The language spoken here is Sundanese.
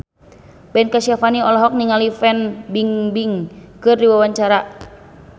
Ben Kasyafani olohok ningali Fan Bingbing keur diwawancara